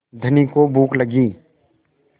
धनी को भूख लगी